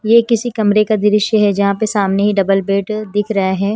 ये किसी कमरे का दृश्य है जहां पे सामने डबल बेड दिख रहे हैं।